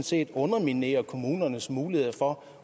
set underminerer kommunernes mulighed for